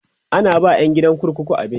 ana ba ƴan gidan kurkuku abinci